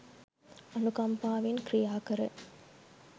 අනුකම්පාවෙන් ක්‍රියාකර